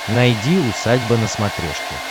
найди усадьба на смотрешке